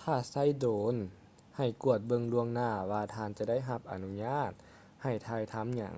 ຖ້າໃຊ້ໂດຣນໃຫ້ກວດເບິ່ງລ່ວງໜ້າວ່າທ່ານຈະໄດ້ຮັບອະນຸຍາດໃຫ້ຖ່າຍທຳຫຍັງ